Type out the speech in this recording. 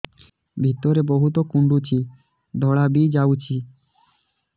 ଭିତରେ ବହୁତ କୁଣ୍ଡୁଚି ଧଳା ବି ଯାଉଛି